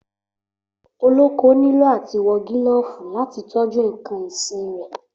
Olóko nílò àtí wọ gilófì làtí tọjú ìkàn ìsín rẹ